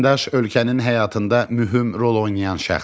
Vətəndaş ölkənin həyatında mühüm rol oynayan şəxsdir.